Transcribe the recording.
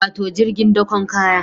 Wato jirgin dakon kaya